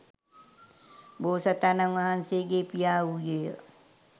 බෝසතාණන් වහන්සේගේ පියා වූයේ ය.